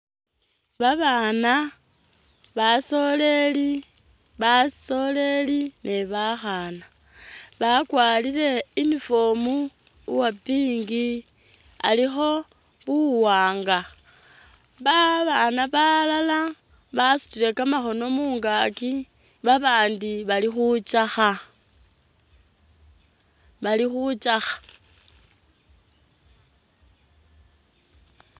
Babana basoleli basoleli ni bakhana bakwarile uniform uwa pink alikho buwanga babana balala basutile kamakhono mungakyi babandi bali khutsakha bali khutsakha